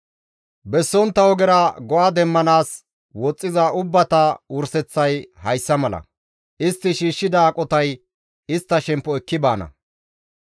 Bessontta ogera go7a demmanaas woxxiza ubbata wurseththay hayssa mala; istti shiishshida aqotay istta shemppo ekki baana.